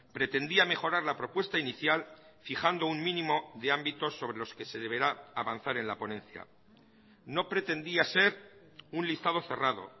pretendía mejorar la propuesta inicial fijando un mínimo de ámbitos sobre los que se deberá avanzar en la ponencia no pretendía ser un listado cerrado